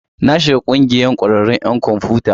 Na shiga ƙungiyar ƙwararrun 'yan kwamfiyuta.